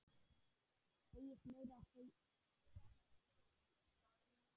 Óskar frændi að stríða henni.